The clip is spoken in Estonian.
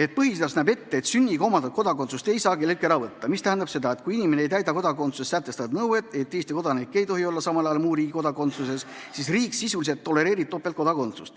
et põhiseadus näeb ette, et sünniga omandatud kodakondsust ei saa kelleltki ära võtta, mis tähendab seda, et kui inimene ei täida kodakondsuse seaduses sätestatud nõuet, mille kohaselt Eesti kodanik ei tohi samal ajal olla muu riigi kodakondsuses, siis riik sisuliselt tolereerib topeltkodakondsust.